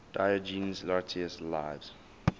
diogenes laertius's lives